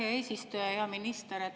Hea minister!